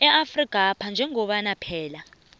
afrikapha njengoba phela